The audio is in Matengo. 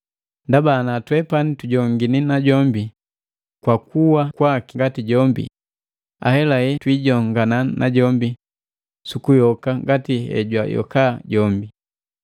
Ndaba ana twepani tujongini najombi kwa kuwa kwaki ngati jombi, ahelahela twiijongana najombi sukuyoka ngati hejwayoka jombi.